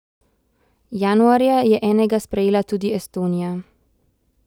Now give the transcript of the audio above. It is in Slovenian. Januarja je enega sprejela tudi Estonija.